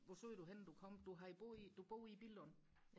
hvor stod der henne du kom du har boet i du bor i Billund